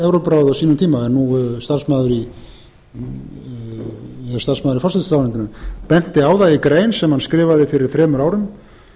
á sínum tíma en nú er starfsmaður í forsætisráðuneytinu benti á það í grein sem hann skrifaði fyrir þremur árum